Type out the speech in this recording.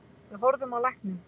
Við horfðum á lækninn.